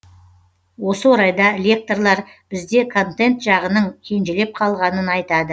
осы орайда лекторлар бізде контент жағының кенжелеп қалғанын айтады